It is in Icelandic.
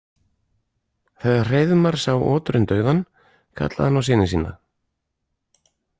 Þegar Hreiðmar sá oturinn dauðan kallaði hann á syni sína.